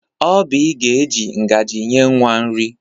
Obịị ga-eji ngaji nye nwa nri.